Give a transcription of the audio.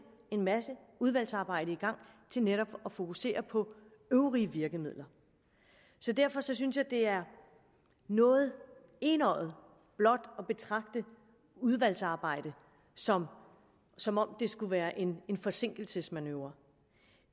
en masse udvalgsarbejde i gang til netop at fokusere på øvrige virkemidler derfor synes jeg at det er noget enøjet blot at betragte udvalgsarbejde som som om det skulle være en forsinkelsesmanøvre